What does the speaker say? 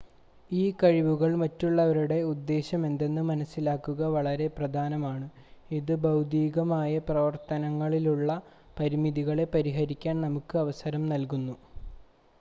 ഈ കഴിവുകളിൽ മറ്റുള്ളവരുടെ ഉദ്ദേശമെന്തെന്ന് മനസ്സിലാക്കുക വളരെ പ്രധാനമാണ് ഇത് ഭൌതികമായ പ്രവർത്തനങ്ങളിലുള്ള പരിമിതികളെ പരിഹരിക്കാൻ നമുക്ക് അവസരം നൽകുന്നു